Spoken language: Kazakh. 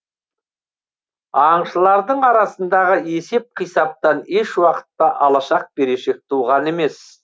аңшылардың арасындағы есеп қисаптан еш уақытта алашақ берешек туған емес